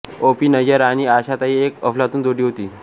ओ P Nayyar आणि आशाताई एक अफलातून जोडी होती